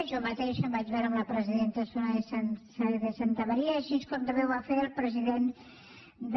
jo mateixa em vaig veure amb la presidenta soraya sáenz de santamaría així com també ho va fer el president de